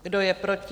Kdo je proti?